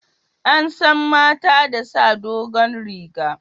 An san mata da sa dogon riga